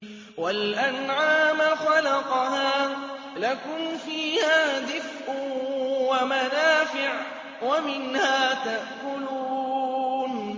وَالْأَنْعَامَ خَلَقَهَا ۗ لَكُمْ فِيهَا دِفْءٌ وَمَنَافِعُ وَمِنْهَا تَأْكُلُونَ